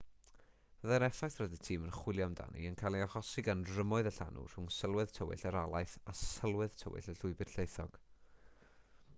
byddai'r effaith roedd y tîm yn chwilio amdani yn cael ei hachosi gan rymoedd y llanw rhwng sylwedd tywyll yr alaeth a sylwedd tywyll y llwybr llaethog